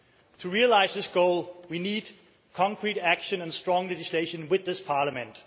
To realise this goal we need concrete action and strong legislation with this Parliament.